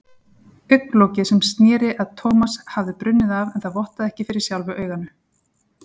Augnlokið sem sneri að Thomas hafði brunnið af en það vottaði ekki fyrir sjálfu auganu.